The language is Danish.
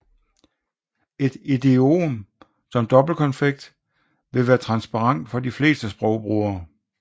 Et idiom som dobbeltkonfekt vil være transparent for de fleste sprogbrugere